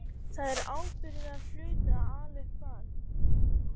Það er ábyrgðarhluti að ala upp barn.